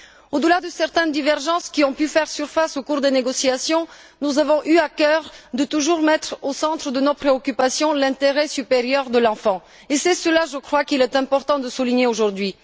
Au delà de certaines divergences qui ont pu faire surface au cours des négociations, nous avons eu à cœur de toujours mettre au centre de nos préoccupations l'intérêt supérieur de l'enfant, et c'est cela, je crois, qu'il est important de souligner aujourd'hui.